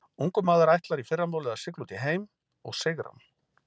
Ungur maður ætlar í fyrramálið að sigla út í heim og sigra hann.